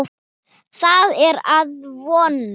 Það er að vonum.